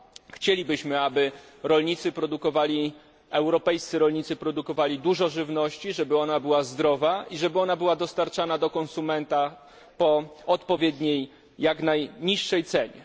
Chcielibyśmy, aby europejscy rolnicy produkowali dużo żywności, żeby ona była zdrowa i żeby była dostarczana do konsumenta po odpowiedniej, jak najniższej cenie.